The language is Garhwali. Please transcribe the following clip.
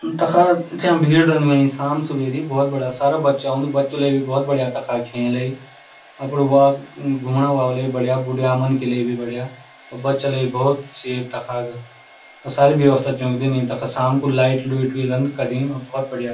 तखा स्याम भीड़ रेंद हुईं स्याम-सुबेरी बहौत बड़ा सारा बच्चा ओंदु बच्चू ले भी बहौत बढ़िया तखा खेलई अप्डू वाक घुमणा वा ले बढ़िया बुढ़या मनखी ले भी बढ़िया और बच्चा लेई बहौत सेफ तखा और सारी व्यवस्था च दींनी तखा स्याम कु लाइट -लुइट भी रेंद कड़ी और बहौत बढ़िया।